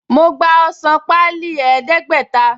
Mo gba ọsàn páálí ẹdẹ̀ẹ́gbẹ̀ta